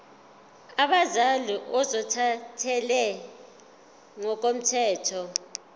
abazali ozothathele ngokomthetho